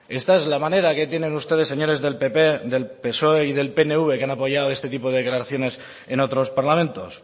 esta es la manera que tienen ustedes señores del pp del psoe y del pnv que han apoyado este tipo de declaraciones en otros parlamentos